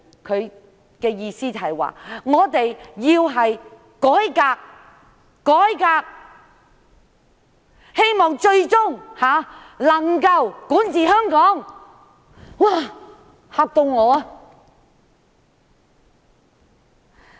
他的意思是，他們要改革，希望最終能夠管治香港。